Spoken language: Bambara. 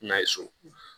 N'a ye so